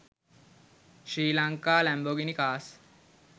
sri lanka lambogini cars